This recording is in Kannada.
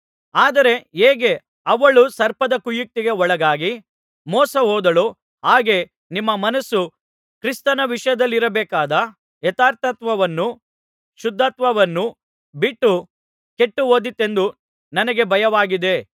ಆದರೆ ಹೇಗೆ ಹವ್ವಳು ಸರ್ಪದ ಕುಯುಕ್ತಿಗೆ ಒಳಗಾಗಿ ಮೋಸಹೋದಳೋ ಹಾಗೆ ನಿಮ್ಮ ಮನಸ್ಸು ಕ್ರಿಸ್ತನ ವಿಷಯದಲ್ಲಿರಬೇಕಾದ ಯಥಾರ್ಥತ್ವವನ್ನೂ ಶುದ್ಧತ್ವವನ್ನೂ ಬಿಟ್ಟು ಕೆಟ್ಟುಹೋದೀತೆಂದು ನನಗೆ ಭಯವಾಗಿದೆ